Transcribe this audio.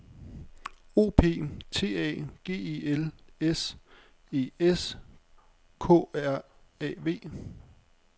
O P T A G E L S E S K R A V